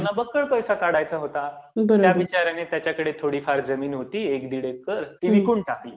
त्यांना बक्कळ पैसे काढायचा होता. त्या बिचाऱ्याने त्याच्याकडे थोडीफार जमीन होती एक दोन एकर, ती विकून टाकली.